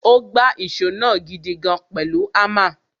Ó gbá ìṣó náà gidigan pẹ̀lú hámà.